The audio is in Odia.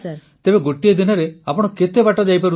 ପ୍ରଧାନମନ୍ତ୍ରୀ ତେବେ ଗୋଟିଏ ଦିନରେ ଆପଣ କେତେ ବାଟ ଯାଇପାରୁଥିଲେ